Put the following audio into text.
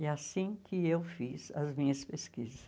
E é assim que eu fiz as minhas pesquisas.